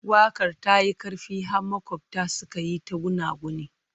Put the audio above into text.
Waƙar ta yi ƙarfi har maƙwabta suka yi ta gunaguni.